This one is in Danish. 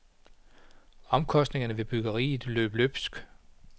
Omkostningerne ved byggeriet løb løbsk.